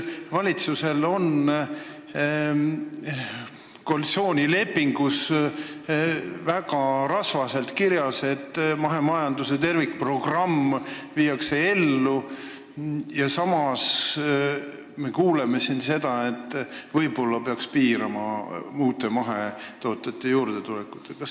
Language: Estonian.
Valitsuse koalitsioonilepingus on väga rasvaselt kirjas, et mahemajanduse tervikprogramm viiakse ellu, samas me kuuleme siin, et võib-olla peaks piirama mahetootjate juurdetulekut.